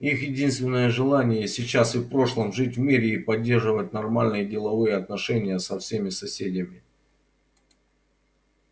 их единственное желание и сейчас и в прошлом жить в мире и поддерживать нормальные деловые отношения со своими соседями